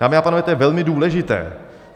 Dámy a pánové, to je velmi důležité.